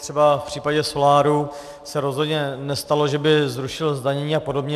Třeba v případě soláru se rozhodně nestalo, že by zrušil zdanění a podobně.